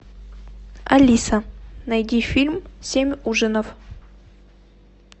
алиса найди фильм семь ужинов